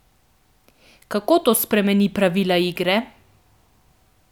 Kako to spremeni pravila igre?